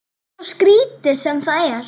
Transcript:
Svo skrítið sem það er.